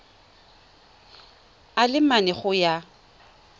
a le mane go ya